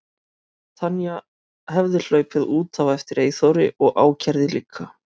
Tanya hefði hlaupið út á eftir Eyþóri og ákærði líka.